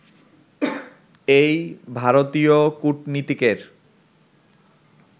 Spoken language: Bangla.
এই ভারতীয় কূটনীতিকের